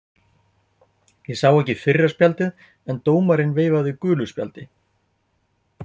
hverjir eru vinir og óvinir ljónsins